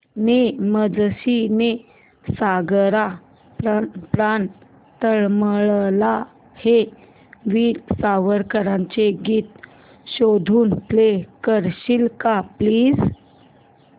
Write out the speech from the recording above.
ने मजसी ने सागरा प्राण तळमळला हे वीर सावरकरांचे गीत शोधून प्ले करशील का प्लीज